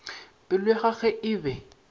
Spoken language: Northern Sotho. pelo ya gagwe e be